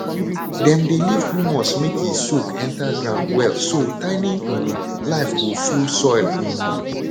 dem dey leave humus make e soak enter ground well so tiny um life go full soil um